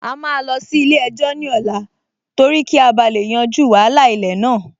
A máa lọ sí ilé-ẹjọ́ ní ọ̀la torí kí a bá lè yanjú wàhálà ilẹ̀ náà